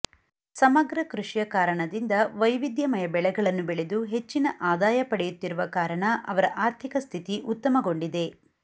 ಸಮಗ್ರ ಕೃಷಿಯ ಕಾರಣದಿಂದ ವೈವಿಧ್ಯಮಯ ಬೆಳೆಗಳನ್ನು ಬೆಳೆದು ಹೆಚ್ಚಿನ ಆದಾಯ ಪಡೆಯುತ್ತಿರುವ ಕಾರಣ ಅವರ ಆರ್ಥಿಕ ಸ್ಥಿತಿ ಉತ್ತಮಗೊಂಡಿದೆ